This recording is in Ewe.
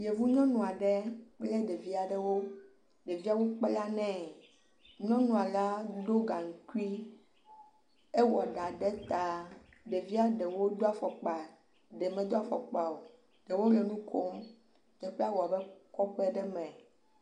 Yevunyɔnu aɖe kple ɖevi aɖewo, ɖeviawo kpla nɛ, nyɔnua ɖo gaŋkui, ewɔ ɖa ɖe ta, ɖevia ɖewo do afɔkpa, ɖewo medo afɔkpao, ye wole nu kom, teƒea wɔ abe kɔƒe aɖe me …